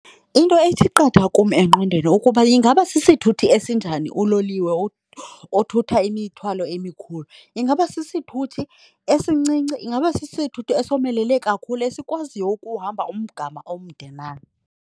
Into ethi qatha kum engqondweni ukuba ingaba sisithuthi esinjani uloliwe othutha imithwalo emikhulu. Ingaba sisithuthi esincinci? Ingaba sisithuthi esomelele kakhulu esikwaziyo ukuhamba umgama omde na?